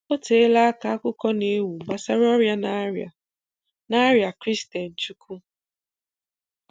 O teela aka akụkọ na-ewu gbasara ọrịa na-arịa na-arịa Christian Chukwu